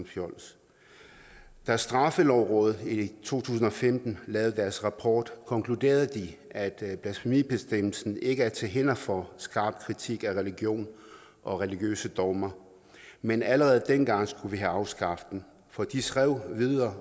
fjols da straffelovrådet i to tusind og femten lavede deres rapport konkluderede de at at blasfemibestemmelsen ikke er til hinder for skarp kritik af religion og religiøse dogmer men allerede dengang skulle vi have afskaffet den for de skrev videre